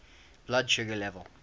blood sugar level